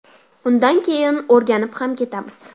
Undan keyin o‘rganib ham ketamiz.